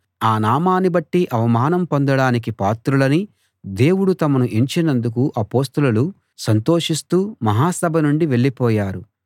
ఆ నామాన్ని బట్టి అవమానం పొందడానికి పాత్రులని దేవుడు తమను ఎంచినందుకు అపొస్తలులు సంతోషిస్తూ మహాసభ నుండి వెళ్ళిపోయారు